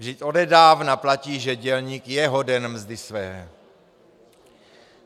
Vždyť odedávna platí, že dělník je hoden mzdy své.